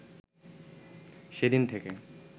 সেদিন থেকে